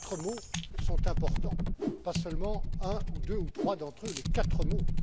Les quatre mots sont importants, pas seulement un, deux ou trois d'entre eux, les quatre mots!